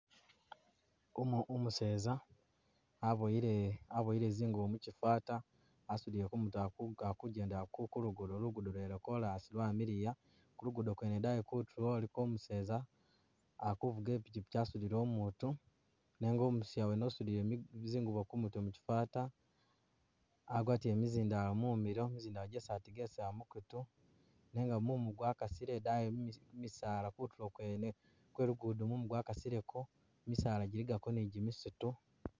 Umuseeza abowile zingubo mukyi'fata asudile kumutwe akujendela kulugudo kulugudo lwene lwa koras lwa'miliya kulugudo kwene idayi kutulo iliko umuseeza akufuga ipikyipikyi asudile umutu nenga umusiya wene usudile zingubo kumutwe mukyi'fata agwatile mizindalo mumilo mizindalo jesi ategelesela mukutu nenga mumu gwakasile idayi mumisaala kutulo kwene kwe lugudo mumu gwakasileko misala jiligako ni jimisitu.